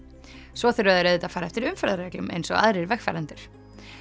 svo þurfa þeir auðvitað að fara eftir umferðarreglum eins og aðrir vegfarendur